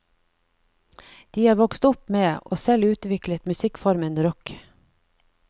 De har vokst opp med, og selv utviklet musikkformen rock.